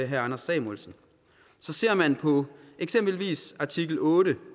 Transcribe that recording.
herre anders samuelsen ser man eksempelvis på artikel otte